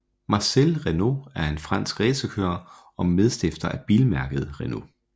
Marcel Renault var en fransk racerkører og medstifter af bilmærket Renault